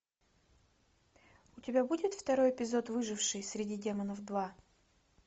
у тебя будет второй эпизод выживший среди демонов два